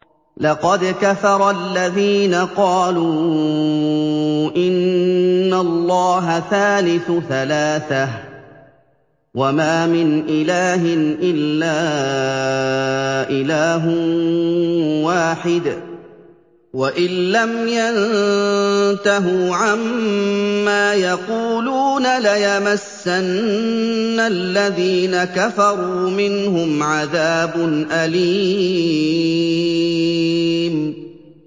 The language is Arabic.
لَّقَدْ كَفَرَ الَّذِينَ قَالُوا إِنَّ اللَّهَ ثَالِثُ ثَلَاثَةٍ ۘ وَمَا مِنْ إِلَٰهٍ إِلَّا إِلَٰهٌ وَاحِدٌ ۚ وَإِن لَّمْ يَنتَهُوا عَمَّا يَقُولُونَ لَيَمَسَّنَّ الَّذِينَ كَفَرُوا مِنْهُمْ عَذَابٌ أَلِيمٌ